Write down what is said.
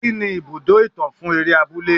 Kí ni ibùdó ìtàn fún eré abúlé.